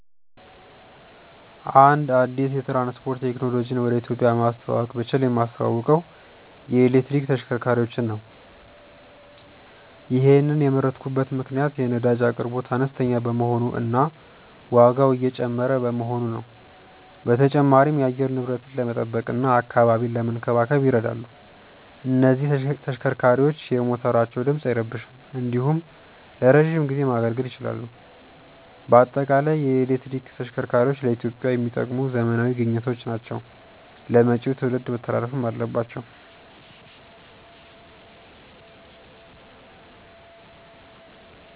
አንድ አዲስ የትራንስፖርት ቴክኖሎጂን ወደ ኢትዮጵያ ማስተዋወቅ ብችል የማስተዋውቀው የኤሌክትሪክ ተሽከርካሪዎችን ነው። ይሔንን የመረጥኩበት ምክንያት የነዳጅ አቅርቦት አነስተኛ በመሆኑ እና ዋጋው እየጨመረ በመሆኑ ነው። በተጨማሪም የአየር ንብረትን ለመጠበቅ እና አካባቢን ለመንከባከብ ይረዳሉ። እነዚህ ተሽከርካሪዎች የሞተራቸው ድምፅ አይረብሽም እንዲሁም ለረዥም ጊዜ ማገልገል ይችላሉ። በአጠቃላይ የኤሌክትሪክ ተሽከርካሪዎች ለኢትዮጵያ የሚጠቅሙ ዘመናዊ ግኝቶች ናቸው ለመጪው ትውልድ መተላለፍም አለባቸው።